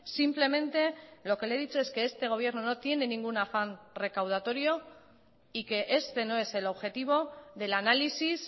simplemente lo que le he dicho es que este gobierno no tiene ningún afán recaudatorio y que este no es el objetivo del análisis